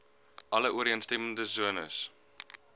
alle ooreenstemmende sones